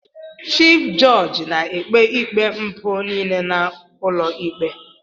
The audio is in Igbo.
Chif jọọjị na-ekpe ikpe mpụ niile n'ụlọikpe.